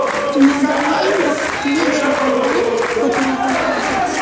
Dunyodagi eng baxtli shahardan fotoreportaj.